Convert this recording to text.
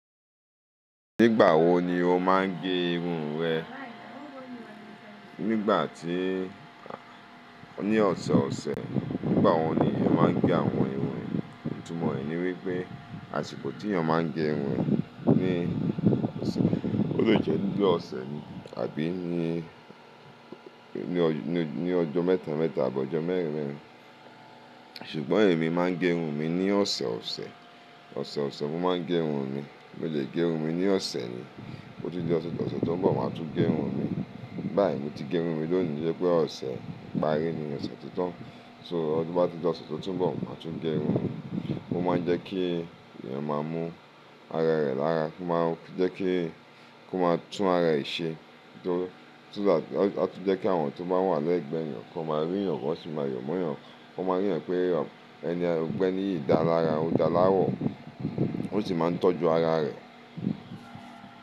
Nígbàwo ni o máa ń gé irun rẹ? Nígbà tíí, ní ọ̀sẹ̀ ọ̀sẹ̀, nígbàwo ni èèyàn máa ń gé àwọn irun, ìtumọ̀ rẹ̀ ni wípé, àsìkò tí èèyàn máa ń gé irun ní, ó lè jẹ́ ní ọ̀sẹ̀ ní àbí ní, ní ọjọ́ mẹ́ta mẹ́ta tàbí ọjọ́ mẹ́rin mẹ́rin. Ṣùgbọ́n èmi máa ń gé irun mi ní ọ̀sẹ̀ ọ̀sẹ̀, ọ̀sẹ̀ ọ̀sẹ̀ mo máa ń gé irun mi. Mo lè gé irun mi ní ọ̀sẹ̀ ni, bó ti di ọ̀sẹ̀ tó ń bọ̀, màá tún gé irun mi. Báyìí mo ti gé irun mi lónìí sépè ọ̀sẹ̀ ìparí ni ọ̀sẹ̀ tó tán. So ọdún bá di lọ́sẹ̀ tó tún bọ̀, màá tún gé irun. Ó máa ń jẹ́ kí èèyàn máa mú ara rẹ̀ lára, kó máa jẹ́ kí, kó máa tún ara ẹ̀ ṣe. Tó, tó bá, a tún jẹ́ kí àwọn tó bá wà lẹ́gbẹ̀ẹ́ èèyàn kó máa rí ìyàn kọ, ó sì máa yọ̀ mọ́ èèyàn. Kó máa rí ìyàn pé ẹni ẹgbẹ́ ni yìí dá lára, ó dá láwọ̀. Ó sì máa ń tọ́jú ara rẹ̀.